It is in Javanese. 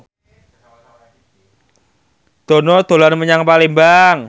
Dono dolan menyang Palembang